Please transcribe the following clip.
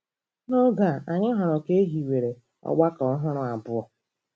N’oge a, anyị hụrụ ka e hiwere ọgbakọ ọhụrụ abụọ.